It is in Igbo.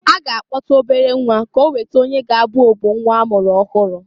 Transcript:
Ha ga akpọta obere nnwa ka oweta onye ga-abụ ogbo nnwa a mụrụ ọhụrụ.